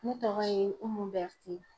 Ne tɔgɔ ye Umu Bɛrite.